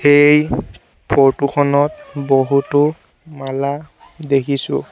এই ফটো খনত বহুতো মালা দেখিছোঁ।